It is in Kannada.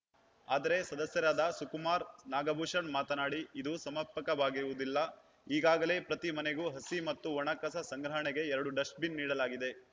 ಆದರೆ ಸದಸ್ಯರಾದ ಸುಕುಮಾರ್‌ ನಾಗಭೂಷಣ್‌ ಮಾತನಾಡಿ ಇದು ಸಮರ್ಪಕವಾಗಿರುವುದಿಲ್ಲ ಈಗಾಗಲೇ ಪ್ರತಿ ಮನೆಗೂ ಹಸಿ ಮತ್ತು ಒಣ ಕಸ ಸಂಗ್ರಹಣೆಗೆ ಎರಡು ಡಸ್ಟ್‌ ಬಿನ್‌ ನೀಡಲಾಗಿದೆ